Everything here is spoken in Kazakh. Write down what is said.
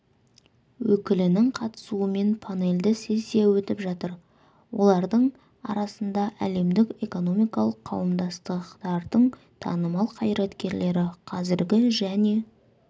өкілінің қатысуымен панельді сессия өтіп жатыр олардың арасында әлемдік экономикалық қауымдастықтардың танымал қайраткерлері қазіргі және